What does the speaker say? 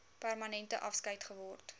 permanente afskeid geword